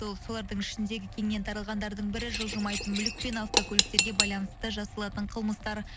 ол солардың ішіндегі кеңінен таралғандардың бірі жылжымайтын мүлік пен автокөліктерге байланысты жасалатын қылмыстар